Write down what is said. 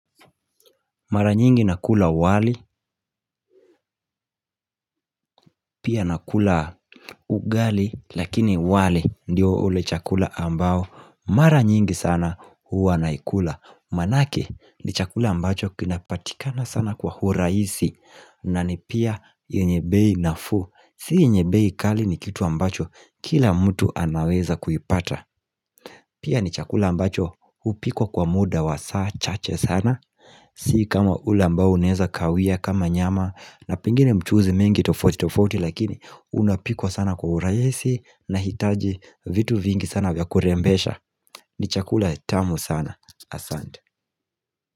Mara nyingi nakula wali, pia nakula ugali, lakini wali ndio ule chakula ambao. Mara nyingi sana huwa naikula. Manake ni chakula ambacho kinapatikana sana kwa huraisi na ni pia yenye bei nafuu. Si yenye bei kali ni kitu ambacho kila mtu anaweza kuipata. Pia ni chakula ambacho hupikwa kwa muda wa saa chache sana. Si kama ule ambao uneza kawia kama nyama, na pingine mchuzi mengi tofauti tofauti lakini unapikwa sana kwa urahisi, nahitaji vitu vingi sana vya kurembesha ni chakula tamu sana Asante.